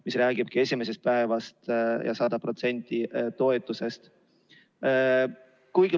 See räägib esimesest haiguspäevast ja 100%-lisest toetusest.